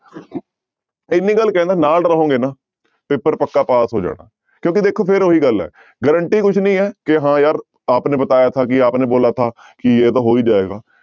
ਇੰਨੀ ਗੱਲ ਕਹਿਨਾ ਨਾਲ ਰਹੋਗੇ ਨਾ ਪੇਪਰ ਪੱਕਾ ਪਾਸ ਹੋ ਜਾਣਾ ਕਿਉਂਕਿ ਦੇਖੋ ਫਿਰ ਉਹੀ ਗੱਲ ਹੈ guarantee ਕੁਛ ਨੀ ਹੈ ਕਿ ਹਾਂ ਯਾਰ ਆਪ ਨੇ ਬਤਾਇਆ ਥਾ ਕਿ ਆਪ ਨੇ ਬੋਲਾ ਥਾ ਕਿ ਇਹ ਤਾਂ ਹੋ ਹੀ ਜਾਏਗਾ।